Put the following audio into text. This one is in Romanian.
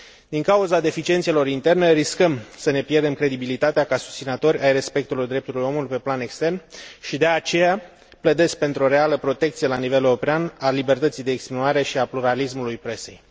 Din cauza deficiențelor interne riscăm să ne pierdem credibilitatea ca susținători ai respectării drepturilor omului pe plan extern și de aceea pledez pentru o reală protecție la nivel european a libertății de exprimare și a pluralismului presei.